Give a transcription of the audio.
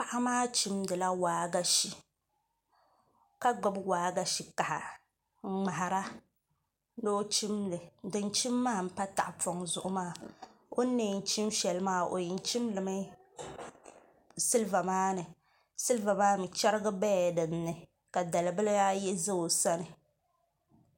Paɣa maa chimdila waagashe ka gbubi waagashe kaha n ŋmahara ni o chimli din chim maa n pa tahapoŋ zuɣu maa o ni na yɛn chim shɛli maa o yɛn chinlimi silba maa ni silba maa ni chɛrigi bɛla dinni ka dalibihi ayi ʒɛ o sani